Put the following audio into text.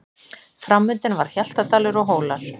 Framundan var Hjaltadalur og Hólar.